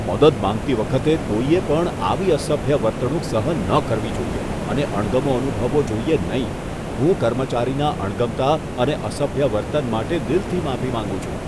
મદદ માંગતી વખતે કોઈએ પણ આવી અસભ્ય વર્તણૂક સહન ન કરવી જોઈએ અને અણગમો અનુભવવો જોઈએ નહીં. હું કર્મચારીના અણગમતા અને અસભ્ય વર્તન માટે દિલથી માફી માંગું છું.